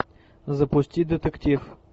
запусти детектив